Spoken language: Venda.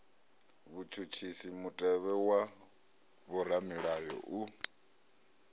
vhutshutshisi mutevhe wa vhoramilayo u